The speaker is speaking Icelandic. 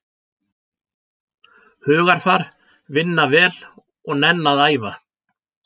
Hugarfar, vinna vel og nenna að æfa.